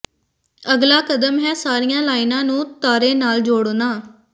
ਅਗਲਾ ਕਦਮ ਹੈ ਸਾਰੀਆਂ ਲਾਈਨਾਂ ਨੂੰ ਤਾਰੇ ਨਾਲ ਜੋੜਨਾ